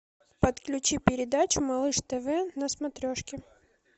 подключи передачу малыш тв на смотрешке